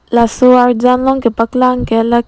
laso arjan along kepaklang ke lake--